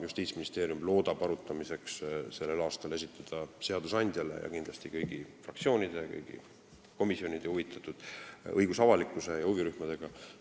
Justiitsministeerium loodab selle sel aastal esitada arutamiseks seadusandjale ja kindlasti kõigile fraktsioonidele, komisjonidele, huvitatud õigusavalikkusele ja huvirühmadele.